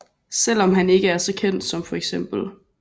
Selvom han ikke er så kendt som feks